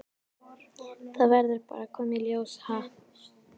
Það verður bara að koma í ljós, ha?